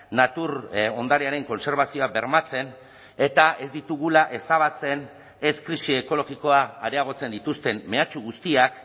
natur ondarearen kontserbazioa bermatzen eta ez ditugula ezabatzen ez krisi ekologikoa areagotzen dituzten mehatxu guztiak